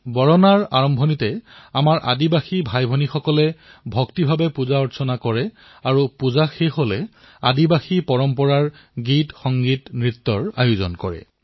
বৰনাৰ আৰম্ভণি ভব্য ধৰণে আমাৰ আদিবাসী ভাইভনীসকলে পুজাপাঠৰ জৰিয়তে আৰম্ভ কৰে আৰু ইয়াৰ সমাপ্তিত আদিবাসী পৰম্পৰাৰ গীত সংগীত নৃত্যও কৰে